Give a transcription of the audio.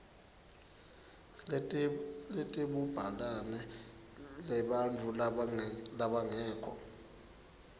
letebubhalane lebantfu labangekho